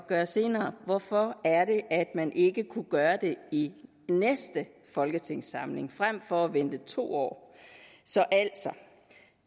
gøre senere hvorfor er det at man ikke kunne gøre det i næste folketingssamling frem for at vente to år så altså